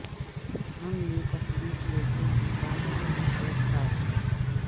ہم نے پتلی پلیٹوں کے ساتھ سیب کاٹ دیا